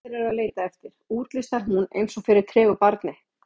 Þetta sem allir eru að leita eftir, útlistar hún eins og fyrir tregu barni.